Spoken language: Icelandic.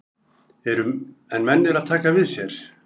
En menn eru að taka við sér.